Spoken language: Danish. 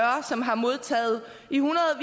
som har modtaget